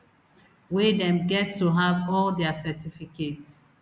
wey dem get to have all dia certificates